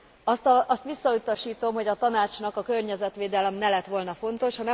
Azt visszautasítom, hogy a Tanácsnak a környezetvédelem ne lett volna fontos.